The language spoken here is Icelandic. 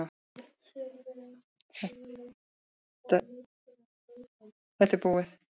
Þetta er búið.